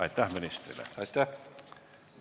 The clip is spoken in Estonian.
Aitäh ministrile!